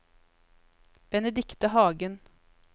Benedicte Hagen